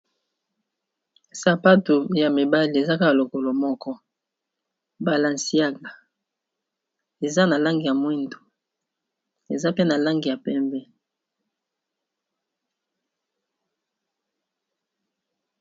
Sapato ya mibale ezaka lokolo moko balanciaga eza na langi ya mwindu eza pe na langi ya pembe.